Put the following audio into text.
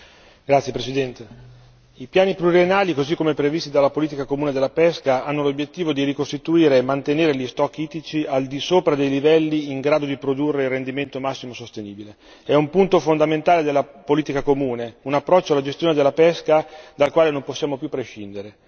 Signora Presidente, onorevoli colleghi, i piani pluriennali così come previsti dalla politica comune della pesca hanno l'obiettivo di ricostituire e mantenere gli stock ittici al di sopra dei livelli in grado di produrre il rendimento massimo sostenibile, è un punto fondamentale della politica comune, un approccio alla gestione della pesca dal quale non possiamo più prescindere.